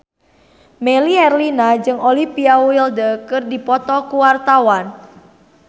Melly Herlina jeung Olivia Wilde keur dipoto ku wartawan